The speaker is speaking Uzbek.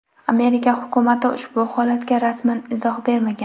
Amerika hukumati ushbu holatga rasman izoh bermagan.